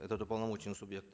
этот уполномоченный субъект